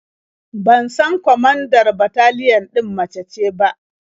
Ban san kwamandar bataliyan ɗin mace ce ba.